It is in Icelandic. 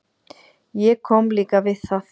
Ég kom líka við það.